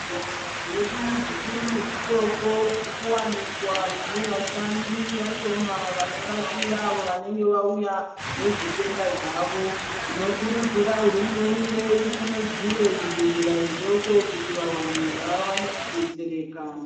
Zvibhedhlera zvedu zvikuru nezvidoko zviri kuwanikwa zvine vashandi vashoma vanobatsira avo vanenge vauya nezvitenda zvawo tinokurudzira hurumende isimudzire zvibhedhlera zvidoko kuti vantu vawane kudetsereka.